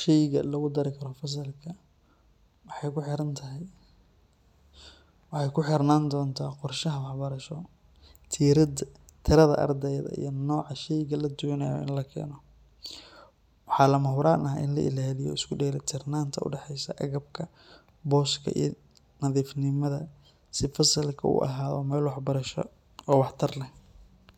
sheyga lagu dari karo fasalka waxay ku xirnaan doontaa qorshaha waxbarasho, tirada ardayda, iyo nooca sheyga la doonayo in la keeno. Waxaa lama huraan ah in la ilaaliyo isku dheelitirnaanta u dhaxaysa agabka, booska iyo nadiifnimada si fasalku u ahaado meel waxbarasho oo waxtar leh.